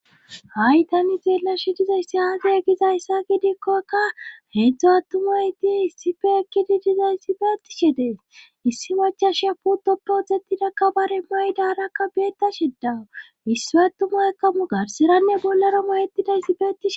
Ha'i tani xeella shi dizayssi aase gizayssa gidikkokka heedzdzu attumay ti issife ekkidi dizayssi fe ettishe dees issi machasha putoppodzettidakka bare maydarakka beeta shedawu issi attumay kamu garsiranne bollero mayettidayssi betici.